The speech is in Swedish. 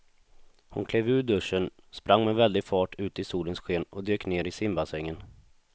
Hon klev ur duschen, sprang med väldig fart ut i solens sken och dök ner i simbassängen.